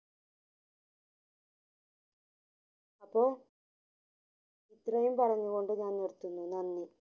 അപ്പൊ ഇത്രയും പറഞ്ഞു കൊണ്ട് ഞാൻ നിര്ത്തുന്നു നന്ദി